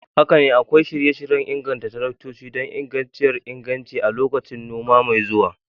Haka ne, akwai shirye-shiryen inganta taraktoci don ingantacciyar inganci a lokacin noma mai zuwa.